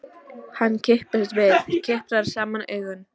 Hann kippist við, kiprar saman augun.